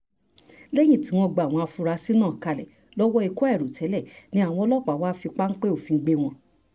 lẹ́yìn tí wọ́n gba àwọn afurasí náà kalẹ̀ lọ́wọ́ ikú àìròtẹ́lẹ̀ ni àwọn ọlọ́pàá wàá fi páńpẹ́ òfin gbé wọn